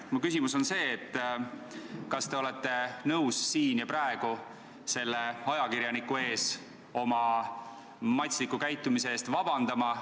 Mu küsimus on see, et kas te olete nõus siin ja praegu selle ajakirjaniku ees oma matsliku käitumise pärast vabandust paluma.